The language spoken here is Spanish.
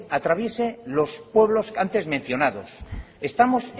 pase o atraviese los pueblos antes mencionados estamos